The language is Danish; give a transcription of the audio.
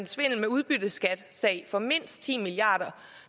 svindel med udbytteskatten for mindst ti milliard kr